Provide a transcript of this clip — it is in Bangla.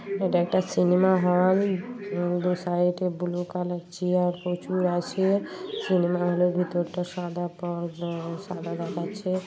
এটা একটা সিনেমা হল উম দু সাইডে ব্লু কালার চেয়ার প্রচুর আছে সিনেমা হলের ভেতরটা সাদা পা আ সাদা দেখাচ্ছে।